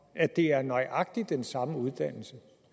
at det er nøjagtig den samme uddannelse